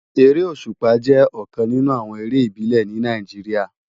Éré ósúpá jè òkán ninú àwòn éré ibilè ni Náijiriá